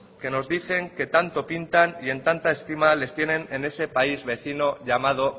que nos dicen que tanto pintan y en tanta estima les tienen en ese país vecino llamado